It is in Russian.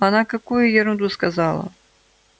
она какую ерунду сказала